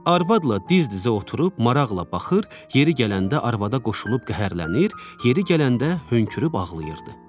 Arvadla diz-dizə oturub maraqla baxır, yeri gələndə arvada qoşulub qəhərlənir, yeri gələndə hönkürüb ağlayırdı.